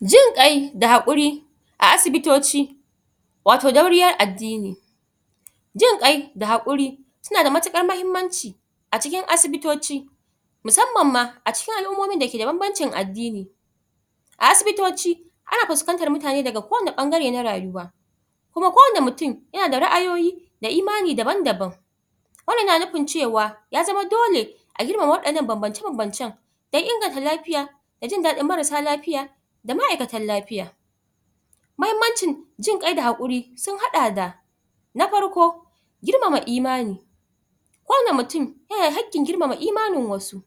Jin ƙai da haƙuri a asibitoci wato dauriyar addini. Jin ƙai da haƙuri tana da matuƙar mahimmanci a cikin asibitoci musamman ma a cikin al'ummomin da ke da banbancin addini. A asibitoci ana fuskantar mutane daga kowane ɓangare na rayuwa, kuma kowane mutin yana da ra'ayoyi da imani daban-daban, wannan na nufin cewa ya zama dole a irin waɗannan banbance banbancen dan inganta lafiya, da jin daɗin marasa lafiya da ma'aikatan lafiya. Mahimmancin jin ƙai da haƙuri sun haɗa da Na farko: Girmama imani kowane mutin yana haƙƙin girmama imanin wasu,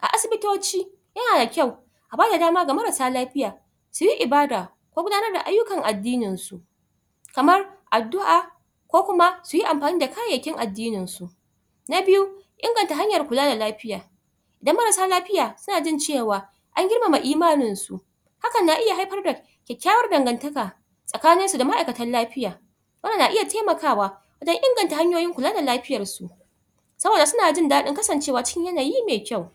a asibitoci yana kyau a bada dama ga marasa lafiya siyi ibada ko gudanar da ayyukan addininsu kamar: Addu'a, ko kuma suyi amfani da kayayyakin addininsu. Na biyu: Inganta hanyar kula da lafiya idan marassa lafiya su na jin ce wa an girmama imaninsu hakan na iya haifar da kyakkyawar dangantaka tsakaninsu da ma'aikatan lafiya, wannan na iya taimakawa wajen inganta hanyoyin kula da lafiyarsu saboda su na jin daɗin Kasancewa cikin yanayi me kyau.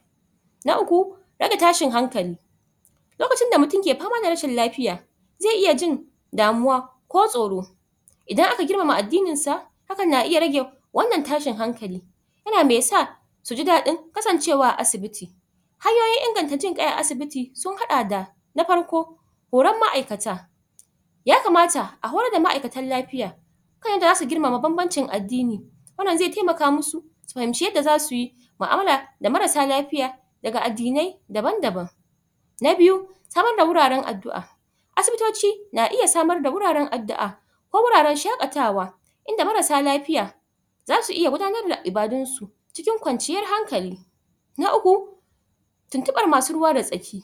Na uku: Yadda tashin hankali lokacin da mutim ke fama da rashin lafiya ze iya jin damuwa ko tsoro, idan aka girmama addininsa hakan na iya rage wannan tashin hankali yana me sa su ji daɗin kasancewa a asibiti. Hanyoyin inganta jin ƙai a asibiti sun haɗa da: Na farko: Horon ma'aikata yakamata a horar da ma'aikatan lafiya kan yanda za su girmama banbancin addini wannan ze taimaka masu su fahimci yadda zasuyi ma'amala da marassa lafiya daga addinai daban-daban. Na biyu: Samadda wuraren addu'a. Asibitoci na iya samarda wuraren addu'a ko wuraren shaƙatawa inda marassa lafiya zasu iya gudanar da ibadunsu, cikin kwanciyar hankali. Na uku: Tintiɓar ma su ruwa da tsaki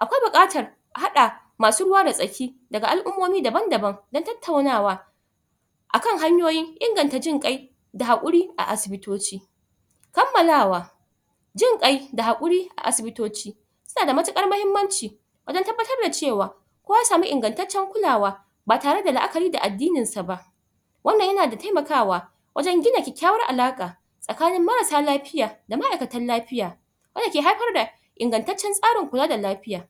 akwai buƙatar a haɗa ma su ruwa da tsaki daga al'ummomi daban-daban dan tattaunawa akan hanyoyin inganta jin ƙai da haƙuri a asibitoci. Kammalawa Jin ƙai da haƙuri a asibitoci suna da matuƙar mahimmanci wajen tabbatar da ce wa kowa ya samu ingantaccen kulawa ba tare da la'akari da addininsa ba, wannan yana da taimakawa wajen gina kyakkyawar alaƙa tsakanin marasa lafiya da ma'aikatan lafiya, wanda ke haifar da ingantaccen tsarin kula da lafiya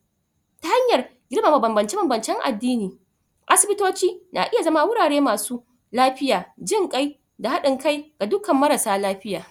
ta hanyar girmama banbance banbancen addini, asibitoci na iya zama wurare ma su lafiya, jin ƙai, da haɗin kai ga dukkan marasa lafiya.